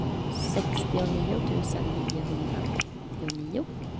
sextionio tusen niohundraåttionio